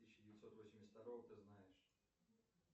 тысяча девятьсот восемьдесят второго ты знаешь